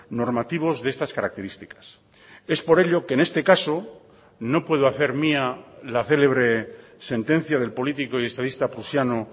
normativos de estas características es por ello que en este caso no puedo hacer mía la célebre sentencia del político y estadista prusiano